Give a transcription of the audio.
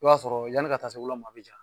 I b'a sɔrɔ yanni ka taa se wula ma a bi ja